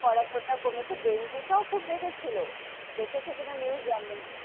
পড়াশোনা কমেছে, ডেঙ্গু টাও খুব বেড়েছিল, দেখেছো কি না news জানি না,